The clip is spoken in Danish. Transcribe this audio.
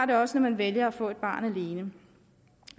der også når man vælger at få et barn alene